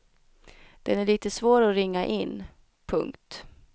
Den är litet svår att ringa in. punkt